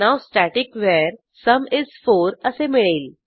now static वर sum is 4 असे मिळेल